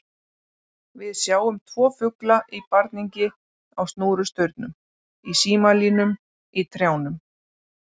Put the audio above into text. Við sjáum tvo fugla í barningi á snúrustaurum, í símalínum, í trjánum.